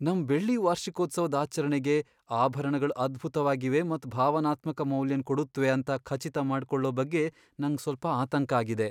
ನಮ್ ಬೆಳ್ಳಿ ವಾರ್ಷಿಕೋತ್ಸವದ್ ಆಚರಣೆಗೆ ಆಭರಣಗಳ್ ಅದ್ಭುತವಾಗಿವೆ ಮತ್ ಭಾವನಾತ್ಮಕ ಮೌಲ್ಯನ್ ಕೊಡುತ್ವೆ ಅಂತ ಖಚಿತ ಮಾಡ್ಕೊಳ್ಳೋ ಬಗ್ಗೆ ನಂಗ್ ಸ್ವಲ್ಪ ಆತಂಕ ಆಗಿದೆ.